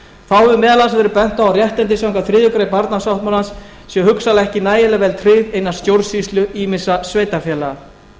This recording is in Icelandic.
hefur meðal annars verið bent á að réttindi samkvæmt þriðju grein barnasáttmálans séu hugsanlega ekki nægilega vel tryggð innan stjórnsýslu ýmissa sveitarfélaga